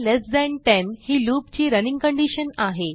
इल्ट10 ही लूप ची running condition आहे